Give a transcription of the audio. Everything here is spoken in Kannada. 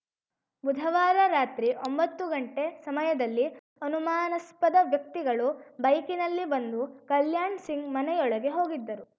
ಬುಧವಾರ ರಾತ್ರಿ ಒಂಬತ್ತು ಗಂಟೆ ಸಮಯದಲ್ಲಿ ಅನುಮಾನಸ್ಪದ ವ್ಯಕ್ತಿಗಳು ಬೈಕ್‌ನಲ್ಲಿ ಬಂದು ಕಲ್ಯಾಣ ಸಿಂಗ್‌ ಮನೆಯೊಳಗೆ ಹೋಗಿದ್ದರು